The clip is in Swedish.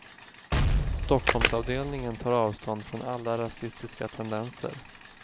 Stockholmsavdelningen tar avstånd från alla rasistiska tendenser.